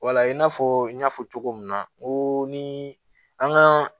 Wala i n'a fɔ n y'a fɔ cogo min na n ko ni an ka